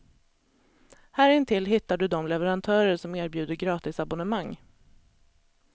Här intill hittar du de leverantörer som erbjuder gratisabbonnemang.